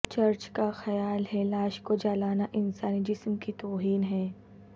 church کا خیال ہے لاش کو جلانا انسانی جسم کی توہین ہے